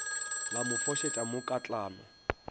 la mo fošetša mo katlano